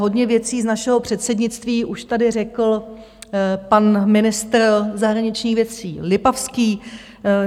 Hodně věcí z našeho předsednictví už tady řekl pan ministr zahraničních věcí Lipavský.